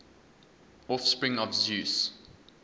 offspring of zeus